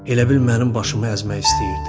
Elə bil mənim başımı əzmək istəyirdi.